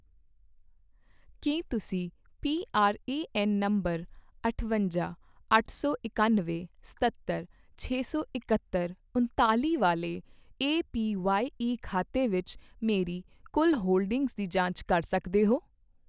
ਕੀ ਤੁਸੀਂ PRAN number ਅਠਵੰਜਾ, ਅੱਠ ਸੌ ਇਕਨਵੇਂ, ਸਤੱਤਰ, ਛੇ ਸੌ ਇਕਹੱਤ, ਉਣਰਾਲ਼ੀ ਵਾਲੇ ਏਪੀਵਾਈ ਖਾਤੇ ਵਿੱਚ ਮੇਰੀ ਕੁੱਲ ਹੋਲਡਿੰਗਜ਼ ਦੀ ਜਾਂਚ ਕਰ ਸਕਦੇ ਹੋ